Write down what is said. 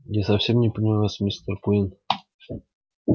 я совсем не понимаю вас мистер куинн